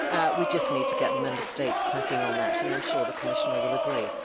We just need to get the Member States cracking on that, and I am sure the Commissioner will agree.